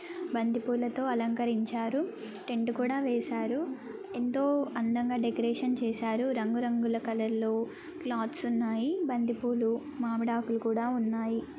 బంతి పుల్ల తో అలంకరించారు. టెంట్ కూడా వేసారు. ఎంతో అందంగా డెకరేషన్ చేసారు రంగు రంగుల కలర్లో క్లోత్స్ తో ఉన్నాయి. బంతి పూలు మామిడి ఆకులు కూడా ఉన్నాయి